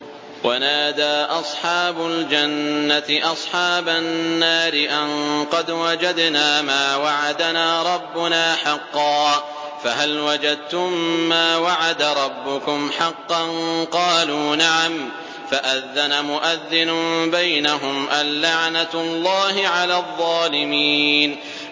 وَنَادَىٰ أَصْحَابُ الْجَنَّةِ أَصْحَابَ النَّارِ أَن قَدْ وَجَدْنَا مَا وَعَدَنَا رَبُّنَا حَقًّا فَهَلْ وَجَدتُّم مَّا وَعَدَ رَبُّكُمْ حَقًّا ۖ قَالُوا نَعَمْ ۚ فَأَذَّنَ مُؤَذِّنٌ بَيْنَهُمْ أَن لَّعْنَةُ اللَّهِ عَلَى الظَّالِمِينَ